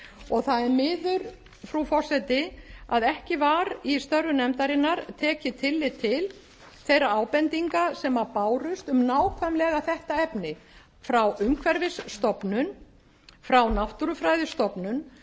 og það er miður frú forseti að ekki var í störfum nefndarinnar tekið tillit til þeirra ábendinga sem bárust um nákvæmlega þetta efni frá umhverfisstofnun frá náttúrufræðistofnun